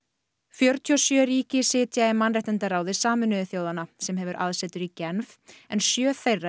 fjörutíu og sjö ríki sitja í mannréttindaráði Sameinuðu þjóðanna sem hefur aðsetur í Genf en sjö þeirra